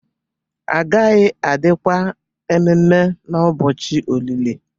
agaghi-adi kwa ememe n'ubọchi olìlì